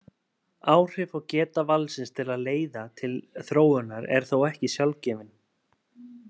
Áhrif og geta valsins til að leiða til þróunar eru þó ekki sjálfgefin.